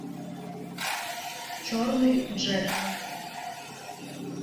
черный джек